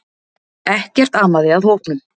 Ekkert amaði að hópnum